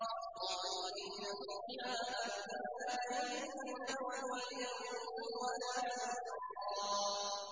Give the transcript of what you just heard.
خَالِدِينَ فِيهَا أَبَدًا ۖ لَّا يَجِدُونَ وَلِيًّا وَلَا نَصِيرًا